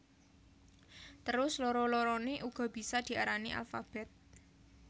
Terus loro loroné uga bisa diarani alfabèt